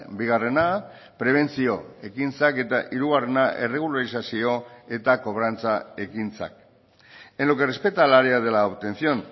bigarrena prebentzio ekintzak eta hirugarrena erregulazio eta kobrantza ekintzak en lo que respecta al área de la obtención